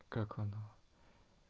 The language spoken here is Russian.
как оно